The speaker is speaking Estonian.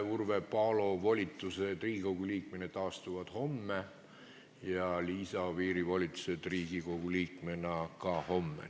Urve Palo volitused Riigikogu liikmena taastuvad seaduse järgi homme ja Liisa Oviiri volitused Riigikogu liikmena lõpevad ka homme.